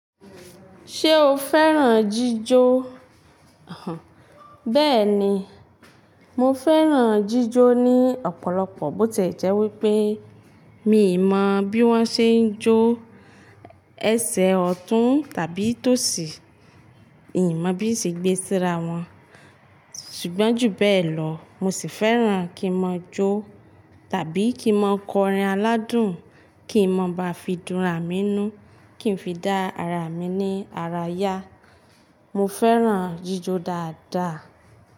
Ṣé o fẹ́ràn jíjó? Bẹ́ẹ̀ni, mo fẹ́ràn jíjó ní ọ̀pọ̀lọpọ̀ bó tìẹ jẹ́ wípé mi ì mọ̀ bí wọ́n ṣe ń jó ẹsẹ̀ ọ̀tún tàbí tòsí, ì n mọ̀ bí n ṣe gbé síra wọn. Ṣùgbọ́n ju bẹ́ẹ̀ lọ mo sì fẹ́ràn kí mo jó tàbí kí mo kọrin aládùn, kí n má ba fi dún àra mínnú, kí n fi dá ara mi ní ara yá. Mo fẹ́ràn jíjó dáadáa.